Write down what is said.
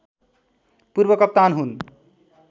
पूर्व कप्तान हुन्